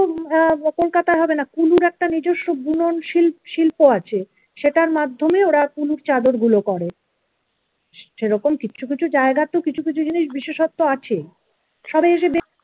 আহ kolkata য় হবে না কুলুর একটা নিজস্ব বুনন শ~ শিল্প আছে সেটার মাধ্যমে ওরা কুনুর চাদরগুলো করে সেরকম কিছু কিছু জায়গা তো কিছু কিছু জিনিস বিশেষত্ব আছে সবাই এসে দেখুক